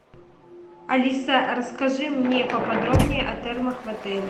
алиса расскажи мне поподробнее о термах в отеле